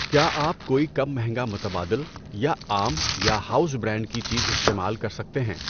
کیا آپ کوئی کم مہنگا متبادل یا عام یا ہاؤز برانڈ کی چیز استعمال کر سکتے ہیں؟